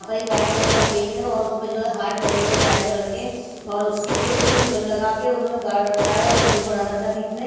आ पर एक white colour का केक है और उसपे जो है हार्ट बने हुए हैं रेड कलर के और स्टिक पे भी लगा के उन्होंने गाड़ रखा है और एक फूल बना रखा है बीच में--